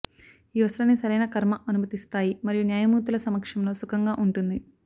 ఈ వస్త్రాన్ని సరైన కర్మ అనుమతిస్తాయి మరియు న్యాయమూర్తుల సమక్షంలో సుఖంగా ఉంటుంది